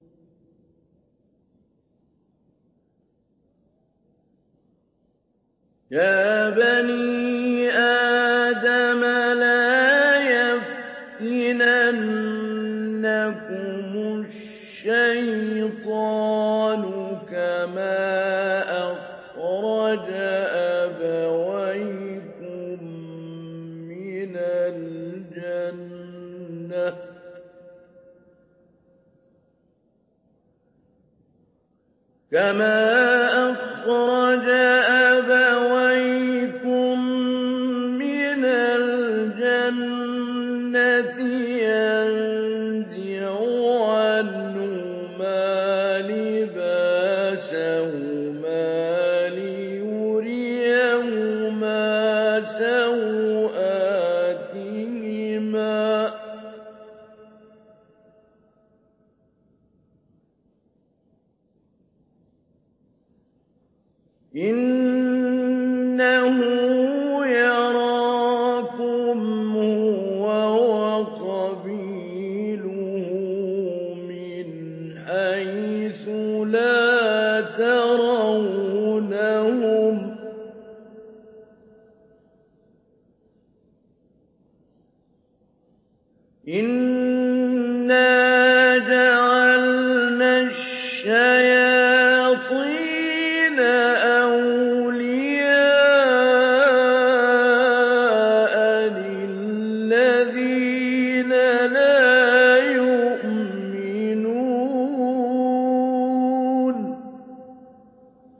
يَا بَنِي آدَمَ لَا يَفْتِنَنَّكُمُ الشَّيْطَانُ كَمَا أَخْرَجَ أَبَوَيْكُم مِّنَ الْجَنَّةِ يَنزِعُ عَنْهُمَا لِبَاسَهُمَا لِيُرِيَهُمَا سَوْآتِهِمَا ۗ إِنَّهُ يَرَاكُمْ هُوَ وَقَبِيلُهُ مِنْ حَيْثُ لَا تَرَوْنَهُمْ ۗ إِنَّا جَعَلْنَا الشَّيَاطِينَ أَوْلِيَاءَ لِلَّذِينَ لَا يُؤْمِنُونَ